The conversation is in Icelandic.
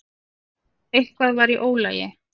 Eitthvað var í ólagi.